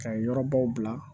Ka yɔrɔbaw bila